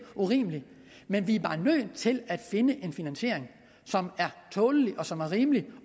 urimelig men vi er bare nødt til at finde en finansiering som er tålelig og som er rimelig